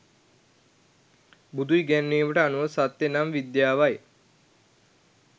බුදු ඉගැන්වීමට අනුව සත්‍ය නම් විද්‍යාවයි.